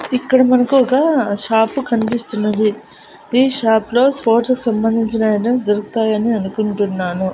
ఇక్కడ మనకు ఒక షాపు కనిపిస్తున్నది ఈ షాప్ లో స్పోర్ట్స్ కు సంబంధించిన ఐటమ్స్ దొరుకుతాయని అనుకుంటున్నాను.